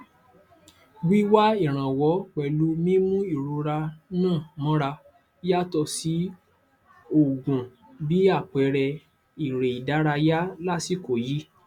wíwá ìrànwọ pẹlú mímú ìrora ńà mọra yàtọ sí òògùn bí àpẹẹrẹ eré ìdárayá lásìkò yìí